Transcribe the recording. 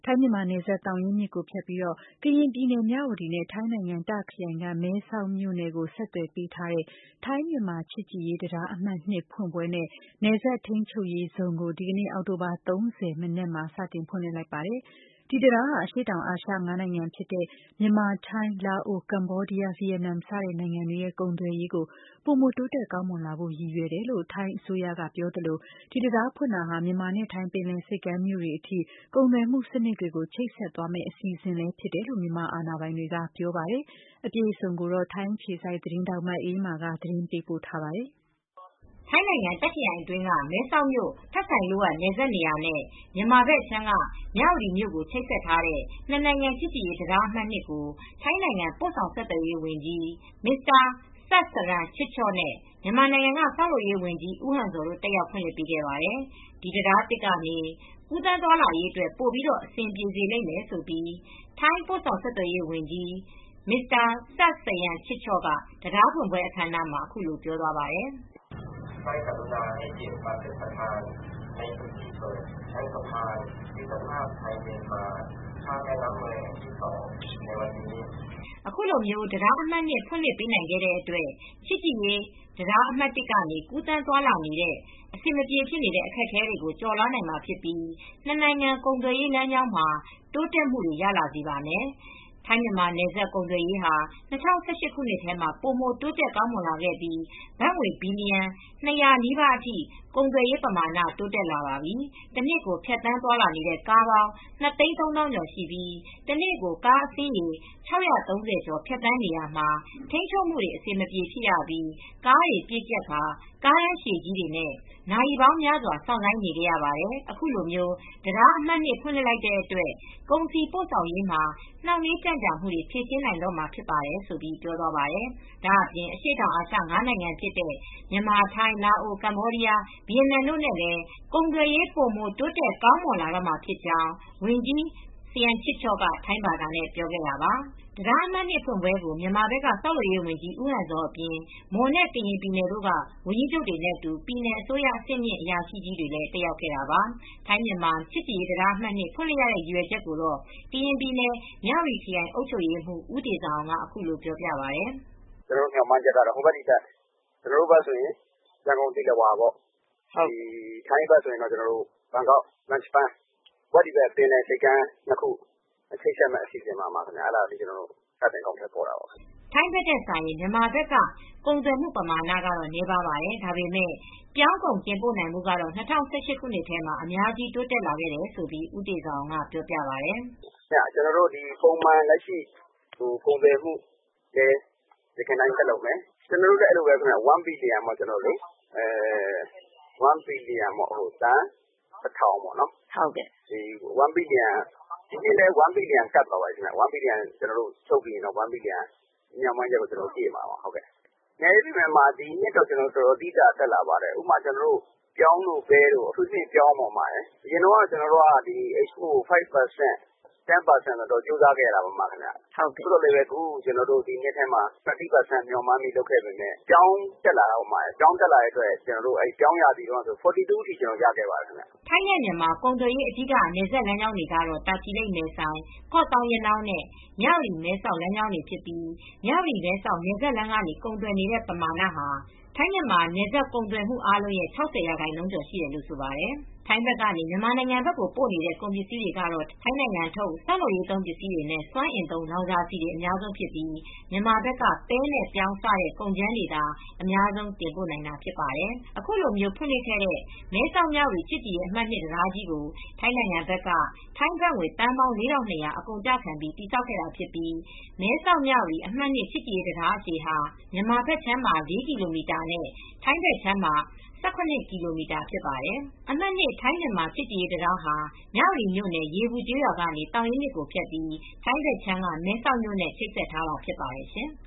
ိုင်းမြန်မာနယ်စပ် သောင်ရင်းမြစ်ကိုဖြတ်ပြီး ကရင်ပြည်နယ်မြဝတီနဲ့ ထိုင်းနိုင်ငံ၊ တာ့ခရိုင်က မဲဆောက်မြို့နယ် ဆက်သွယ်ပေးထားတဲ့ထိုင်း-မြန်မာချစ်ကြည်ရေး တံတားအမှတ် ၂ ဖွင့်ပွဲနဲ့ နယ်စပ် ထိန်းချုပ်ရေးဇုန်ု (Border Control Facilities Zone) ကို ဒီကနေ့ အောက်တိုဘာလ ၃၀ရက် မနက်မှာ စတင်ဖွင့်လှစ်ပါပြီ။ ဒီတံတားဟာ အရှေ့တောင်အာရှ ငါးနိုင်ငံဖြစ်တဲ့ မြန်မာ-ထိုင်း-လာအို- ကမ္ဘောဒီးယား-ဗီယက်နမ် စတဲ့ နိုင်ငံတွေရဲ့ ကုန်သွယ်ရေး ပိုမို တိုးတက်ကောင်းမွန်လာဖို့ရည်ရွယ်တယ်လို့ ထိုင်းအစိုးရက ပြောသလို၊ ဒီတံတားဖွင့်တာဟာ မြန်မာနဲ့ထိုင်း ပင်လယ် ဆိပ်ကမ်းမြို့တွေအထိ ကုန်သွယ်မူစံနစ်တွေကို ချိတ်ဆက်သွားမယ့် အစီစဉ်ဖြစ်တယ်လို့လည်း မြန်မာအာဏာပိုင်တွေက ပြောပါတယ်။ အပြည့်အစုံကိုတော့ ထိုင်းအခြေစိုက်သတင်းထောက် မအေးအေးမာက သတင်းပေးပို့ထားပါတယ်။ ထိုင်းနိုင်ငံ၊ တာ့ခ်ခရိုင်အတွင်းက မဲဆောက်မြို့ ထဆိုင်လွတ် Tha Sai Luat နယ်စပ်နေရာနဲ့ မြန်မာဘက်အခြမ်းက မြဝတီမြို့ကို ချိတ်ဆက်ထားတဲ့ နှစ်နိုင်ငံ ချစ်ကြည်ရေးတံတားအမှတ် ၂ ကို ထိုင်းနိုင်ငံ ပို့ဆောင်ဆက်သွယ်ရေးဝန်ကြီး Saksayam Chidchob ဆပ်စရန်ချစ်ချော့နဲ့ မြန်မာနိုင်ငံက ဆောက်လုပ်ရေးန်ကြီး ဦးဟန်ဇော်တို့တက်ရောက်ဖွင့်လှစ်ပေးခဲ့ကြပါတယ်။ ဒီတံတားသစ်ကနေ ကူးသန်းသွားလာရေးအတွက် ပိုပြီး အဆင်ပြေစေလိမ့်မယ်လို့ ထိုင်း ပို့ဆောင်ဆက်သွယ်ရေး ဝန်ကြီး Saksayam Chidchob ဆပ်စရန်ချစ်ချော့က တံတားဖွင့်ပွဲ အခမ်းအနားမှာ ပြောပါတယ်။ "အခုလိုတံတားအမှတ် ၂ ဖွင့်လှစ်ပေးနိုင်ခဲတဲ့အတွက် ချစ်ကြည်ရေးတံတားအမှတ် ၁ ကနေ ကူးသန်းသွားလာနေရတဲ့ အဆင်မပြေတဲ့ အခက်အခဲတွေကို ကျော်လွှား နိုင်မှာဖြစ်ပြီး နှစ်နိုင်ငံကုန်သွယ်ရေး လမ်းကြောင်းမှာ တိုးတက်မှုတွေ ရလာစေပါမယ်။ ထိုင်း-မြန်မာနယ်စပ် ကုန်သွယ်ရေး ဟာ ၂၀၁၈ မှာ ပိုးမို တိုးတက်ကောင်းလာခဲ့ပြီး ဘတ်ငွေ ဘီလီယံ ၂၀၀ နီးပါးအထိ ကုန်သွယ်ရေးပမာဏ တိုးတက်လာပါပြီ။ တနှစ်ကို ဖြတ်သန်းနေတဲ့ ကားပေါင်း ၂၃၀,၀၀၀ ကျော်ရှိပြီး တနေ့ကို ကားအစင်းရေး ၆၃၀ ကျော် ဖြတ်သန်းနေရာမှာ ထိမ်းချုပ်မူတွေ အဆင်မပြေဖြစ်ရပြီးကားတွေ ပြည့်ကြပ်ပြီး ကားတန်းရှည်နဲ့ နာရီပေါင်းများစွာ စောင့်ဆိုင်းနေခဲ့ရပါတယ်။ အခုလို တံတာအမှတ် ၂ ဖွင်လိုက်တဲ့ အတွက် ကုန်စည်ပို့ဆောင်ရေးမှာ နှေင့်နှေး ကြံ့ကြာမှုတွေ ဖြေရှင်းနိုင်တော့မှာဖြစ်ပါတယ်။ ဒါ့အပြင် အရှေ့တောင်အာရှ ငါးနိုင်ငံဖြစ်တဲ့ မြန်မာ -ထိုင်း-လာအို- ကမ္ဘောဒီးယား-ဗီယက်နမ်တို့နဲ့ ကုန်သွယ်ရေး ပိုမို တိုးတက် ကောင်းမွန်လာတော့မှာဖြစ်ကြောင်း ဝန်ကြီး စရမ်ချစ်ချော့က ထိုင်းဘာသာနဲ့ ပြောခဲ့တာပါ။" တံတားအမှတ် ၂ ဖွင့်ပွဲကို မြန်မာဘက်က ဆောက်လုပ်ရေးန်ကြီး ဦးဟန်ဇော်အပြင် မွန်နဲ့ ကရင်ပြည်နယ်တို့က ဝန်ကြီးချုပ်တွေနဲ့အတူ ပြည်နယ်အစိုးရ အဆင်မြင့်အရာရှိတွေ တက်ရောက်ခဲ့တာပါ။ ထိုင်း-မြန်မာ ချစ်ကြည်ရေးတံတားအမှတ် ၂ ဖွင့်လှစ်ရတဲ့ရည်ရွယ်ချက်ကို ကရင်ပြည်နယ်၊ မြဝတီခရိုင်အုပ်ချုပ်ရေးမှူး ဦးတေဇာအောင်က အခုလိုပြောပြပါတယ်။ “ကျနော်တို့မျှော်မှန်းချက်ကတော့ ဟိုဘက်ဒီဘက် ကျနော်တို့ဘက်ကဆိုရင် ရန်ကုန်သီလဝါ ထိုင်းဘက်ဆိုရင် ဘန်ကောက်ဘန်းချဘန်း ဟိုဘက် ဒီဘက်ပင်လယ်ဆိပ်ကမ်း ၂ ခု ချိတ်ဆက်မဲ့ပုံစံပါခင်ဗျ။” ထိုင်းဘက်ထက်စာရင် မြန်မာဘက်က ကုန်သွယ်မှု ပမာဏက နည်းပါတယ်။ ဒါပေမဲ့ ပြောင်းကုန်တင်ပို့နိုင်မူကတော့ ၂၀၁၈ခုနှစ်ထဲမှာ အများကြီးတိုးတက်လာခဲ့တယ်လို့ ဦးတေဇာအောင်က ပြောပြပါတယ်။ “ကျနော်တို့လည်း အဲဒီလိုပဲ ၁ ဘီလျံပေါ့၊ သန်း တထောင်ပေါ့။ ဒီနှစ်လည်း ၁ဘီလျံကပ်သွားပါပြီ။ ချုပ်ပြီးရင်တော့ မျော်မှန်းချက်ကို ပြည့်မှာပါ။ နည်းပေမဲ့လည်း ဒီနှစ်တော့ အတော်တက်လာပါတယ်။ အထူးသဖြင့် ပဲတို့၊ ပြောင်းတို့ပေါ့။ အထူးသဖြင့် ပြောင်းပေါ့။ အရင်တုန်းက Export ကို ၅ ရာခိုင်နှုန်းလောက်ထိလောက်ပဲ ရှိခဲ့ပြီး ၃၀ ရာခိုင်နှုန်းလောက်ထိ မျော်မှန်းခဲ့ပေမဲ့ ဒီနှစ်ထဲမှာ ၄၂ ရာခိုင်နှုန်းထိ တိုးလာပါတယ်။” ထိုင်းနဲ့ မြန်မာ ကုန်သွယ်ရေး အဓိကနယ်စပ်လမ်းကြောင်းတွေကတော့ တာချီလိတ်-မယ်ဆိုင်၊ ကော့သောင်း-ရနောင်းနဲ့ မြဝတီ-မဲဆောက် လမ်းကြောင်းတွေဖြစ်ပြီး မြဝတီ-မဲဆောက် နယ်စပ်လမ်းကနေ ကုန်သွယ်နေတဲ့ ပမာဏဟာ ထိုင်းမြန်မာနယ်စပ်ကုန်သွယ်မူအားလုံး ရဲ့၆၀ ရာခိုင်နှုန်းကျော်ရှိတယ်လို့ ဆိုပါတယ်။ ထိုင်းဘက်ကနေ မြန်မာနိုင်ငံကို ပို့နေတဲ့ ကုန်ပစ္စည်းတွေဟာ ထိုင်းနိုင်ငံထုတ် ဆောက်လုပ်ရေးသုံးပစ္စည်းနဲ့စွမ်းအင်သုံး လောင်စာဆီတွေက အများဆုံးဖြစ်ပြီး မြန်မာဘက်က ပဲနဲ့ပြောင်း စတဲ့ ကုန်ကြမ်းတွေသာ အများဆုံး တင်ပို့နိုင်တာ ဖြစ်ပါတယ်။ အခုဖွင့်လှစ်ခဲ့တဲ့မဲဆောက်မြဝတီချစ်ကြည်ရေးအမှတ် ၂ တံတားကြီးကို ထိုင်းနိုင်ငံဘက်က ထိုင်းဘတ်ငွေသန်းပေါင်း ၄၂၀၀ အကုန်အကျခံ တည်ဆောက်ခဲ့တာဖြစ်ပြီး မဲဆောက်-မြဝတီ အမှတ် ၂ ချစ်ကြည်ရေး တံတားအရှည်ဟာ မြန်မာဘက်ခြမ်းမှာ ၄ ကီလိုမီတာနဲ့ ထိုင်းဘက်ခြမ်းမှာ ၁၇ ကီလိုမီတာ ဖြစ်ပါတယ်။ အမှတ် ၂ ထိုင်း-မြန်မာ ချစ်ကြည်ရေးတံတားဟာမြဝတီမြို့နယ် ရေပူကျေးရွာကနေ သောင်ရင်းမြစ်ကို ဖြတ်ပြီး ထိုင်းနိုင်ငံဘက်ခြမ်းက မဲဆောက်ြမို့နဲ့ ချိတ်ဆက်ထားတာ ဖြစ်ပါတယ်ရှင်။